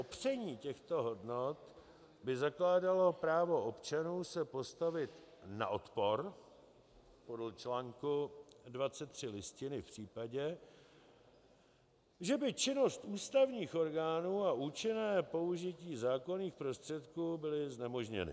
Popření těchto hodnot by zakládalo právo občanů se postavit na odpor podle článku 23 Listiny v případě, že by činnost ústavních orgánů a účinné použití zákonných prostředků byly znemožněny.